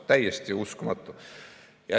Täiesti uskumatu!